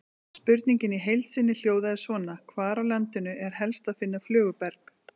Spurningin í heild sinni hljóðaði svona: Hvar á landinu er helst að finna flöguberg?